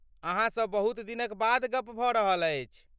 अहाँसँ बहुत दिनक बाद गप भऽ रहल अछि।